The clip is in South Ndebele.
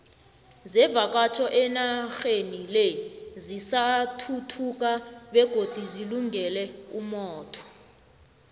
zevakatjho enaxheni le zisathuthuka begodu zilungele umotho